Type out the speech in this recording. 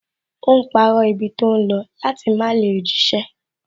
Ó ń parọ́ ibi tó ń lọ láti má lè jíṣẹ́